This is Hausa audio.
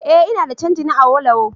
Eh ina da canji na Awolowo